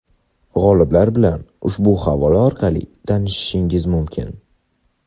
G‘oliblar bilan ushbu havola orqali tanishishingiz mumkin!.